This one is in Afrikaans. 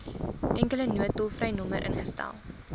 enkele noodtolvrynommer ingestel